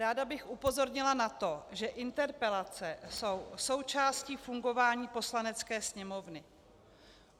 Ráda bych upozornila na to, že interpelace jsou součástí fungování Poslanecké sněmovny.